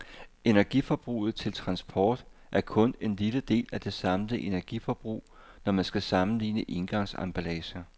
Energiforbruget til transport er kun en lille del af det samlede energiforbrug, når man skal sammenligne engangsemballager.